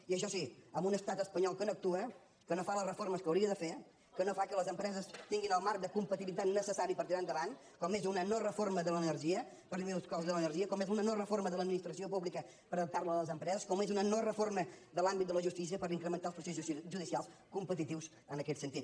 i això sí amb un estat espanyol que no actua que no fa les reformes que hauria de fer que no fa que les empreses tinguin el marc de competitivitat necessari per tirar endavant com és una no reforma de l’energia per disminuir el cost de l’energia com és una no reforma de l’administració pública per adaptar la a les empreses com és una no reforma de l’àmbit de la justícia per incrementar els processos judicials competitius en aquest sentit